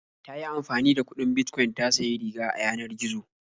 Ta yi amfani da kuɗin Bitcoin ta sayi riga a yanar gizo.